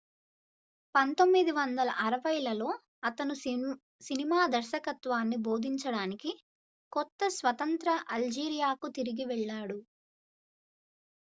1960లలో అతను సినిమా దర్శకత్వాన్ని బోధించడానికి కొత్త-స్వతంత్ర అల్జీరియాకు తిరిగి వెళ్లాడు